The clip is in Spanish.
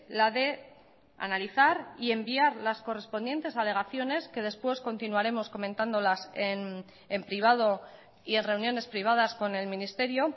la de analizar y enviar las correspondientes alegaciones que después continuaremos comentándolas en privado y en reuniones privadas con el ministerio